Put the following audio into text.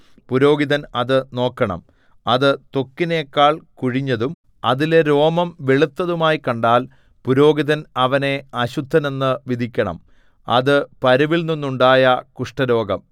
പുരോഹിതൻ അത് നോക്കണം അത് ത്വക്കിനെക്കാൾ കുഴിഞ്ഞതും അതിലെ രോമം വെളുത്തതുമായി കണ്ടാൽ പുരോഹിതൻ അവനെ അശുദ്ധനെന്നു വിധിക്കണം അത് പരുവിൽനിന്നുണ്ടായ കുഷ്ഠരോഗം